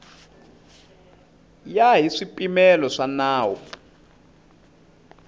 ya hi swipimelo swa nawu